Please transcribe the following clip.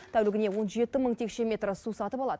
тәулігіне он жеті мың текше метр су сатып алады